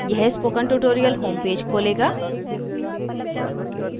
यह spoken tutorial home page खोलेगा